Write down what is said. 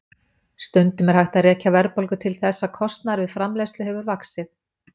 Stundum er hægt að rekja verðbólgu til þess að kostnaður við framleiðslu hefur vaxið.